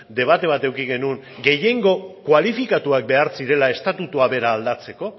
debate bat eduki genuen gehiengo kualifikatuak behar zirela estatutua bera aldatzeko